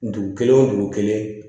Dugu kelen o dugu kelen